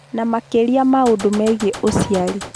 Na makĩria maũndũ megiĩ ũciari.